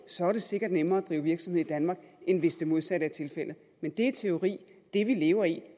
så er det sikkert nemmere at drive virksomhed i danmark end hvis det modsatte er tilfældet men det er teori det vi lever i